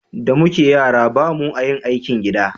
da muke yara ba mu a yin aikin gida